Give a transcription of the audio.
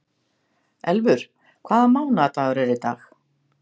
Elfur, hvaða mánaðardagur er í dag?